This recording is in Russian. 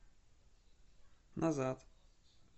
назад